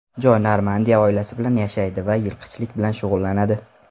Joy Normandiyada oilasi bilan yashaydi va yilqichilik bilan shug‘ullanadi.